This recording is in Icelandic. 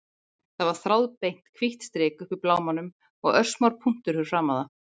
Það var þráðbeint, hvítt strik uppi í blámanum og örsmár punktur fyrir framan það.